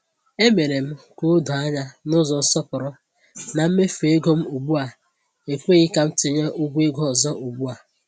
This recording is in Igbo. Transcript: E mere m ka o doo anya n’ụzọ nsọpụrụ na mmefu ego m ugbu a ekweghi ka m tinye ụgwọ ego ọzọ ugbu a.